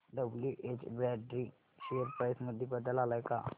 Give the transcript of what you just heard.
WH Brady share price मध्ये बदल आलाय का